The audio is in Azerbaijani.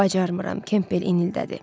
Bacarmıram, Kempbel inildədi.